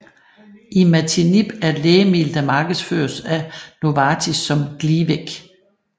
Imatinib er et lægemiddel der markedsføres af Novartis som Glivec